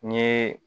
N ye